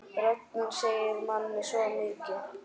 Röddin segir manni svo mikið.